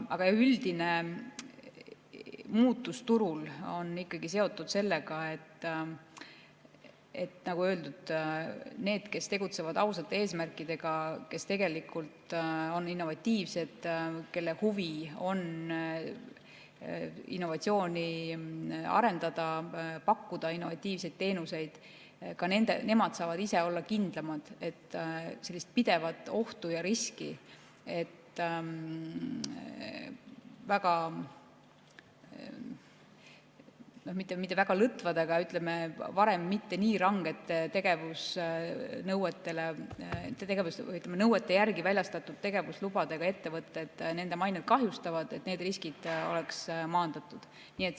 Aga üldine muutus turul on ikkagi seotud sellega, nagu öeldud, et need, kes tegutsevad ausate eesmärkidega, kes on tegelikult innovatiivsed, kelle huvi on innovatsiooni arendada, pakkuda innovatiivseid teenuseid, saavad ise olla kindlamad, et pidev oht ja risk, et nende nõuete järgi – ei saaks öelda, et need nõuded olid väga lõdvad, vaid pigem varem mitte nii ranged – väljastatud tegevuslubadega ettevõtted nende mainet kahjustavad, on maandatud.